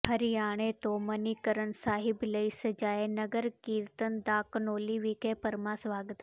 ਹਰਿਆਣੇ ਤੋਂ ਮਨੀਕਰਨ ਸਾਹਿਬ ਲਈ ਸਜਾਏ ਨਗਰ ਕੀਰਤਨ ਦਾ ਘਨੌਲੀ ਵਿਖੇ ਭਰਵਾਂ ਸਵਾਗਤ